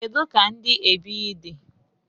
kedu ka ndi ebighị di?